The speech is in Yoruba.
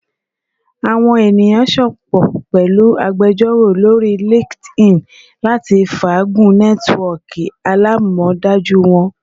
Awọn eniyan sopọ pẹlu agbejoro lori LinkedIn lati faagun nẹtiwọọki alamọdaju wọn